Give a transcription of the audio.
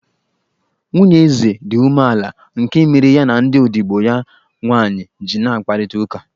Nwunye eze dị umeala nke mere ya ndị odibo ya nwaanyị ji n'akparịta ụka.